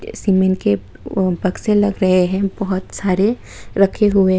Cement के बक्से लग रहे हैं बहुत सारे रखे हुए।